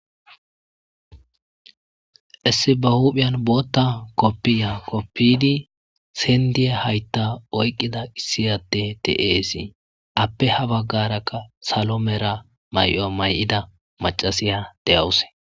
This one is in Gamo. Issi ba huuphen bootha kopiya kopiyidi seliya haytha oyqida issi ade de'es ape ha bagaraka salo mera mayo mayida macasiya de'awusu.